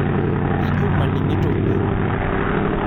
Ijo maning'ito pi.